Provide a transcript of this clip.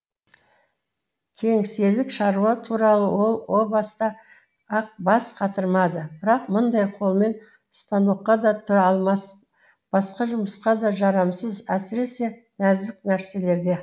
кеңселік шаруа туралы ол о баста ақ бас қатырмады бірақ мұндай қолмен станокқа да тұра алмас басқа жұмысқа да жарамсыз әсіресе нәзік нәрселерге